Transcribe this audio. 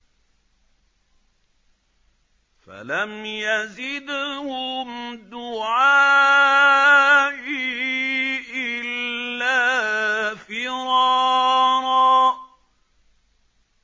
فَلَمْ يَزِدْهُمْ دُعَائِي إِلَّا فِرَارًا